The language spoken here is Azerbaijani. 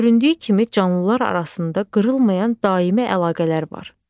Göründüyü kimi, canlılar arasında qırılmayan daimi əlaqələr var.